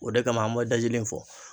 O de kama an bɔ dajli in fɔ